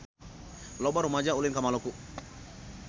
Loba rumaja ulin ka Maluku